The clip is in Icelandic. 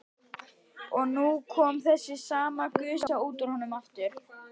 Og nú kom þessi sama gusa út úr honum aftur.